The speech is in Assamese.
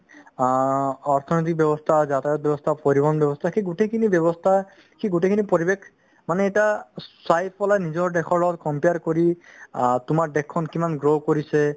অ, অৰ্থনৈতিক ব্যৱস্থা, যাতায়ত ব্যৱস্থা, পৰিবহন ব্যৱস্থা সেই গোটেই খিনি ব্যৱস্থা সেই গোটেইখিনি পৰিৱেশ মানে এতিয়া চাৰিওফালে নিজৰ দেশৰ লগত compare কৰি অ তোমাৰ দেশখন কিমান grow কৰিছে